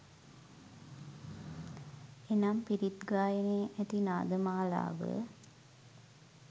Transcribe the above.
එනම් පිරිත් ගායනයේ ඇති නාද මාලාව